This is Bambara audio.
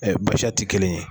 ti kelen ye